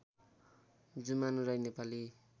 Jumanu Rai Nepali